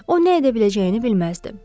O nə edə biləcəyini bilməzdi.